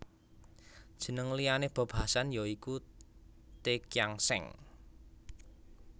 Jeneng liyané Bob Hasan ya iku The Kian Seng